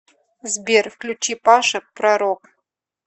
сбер включи паша пророк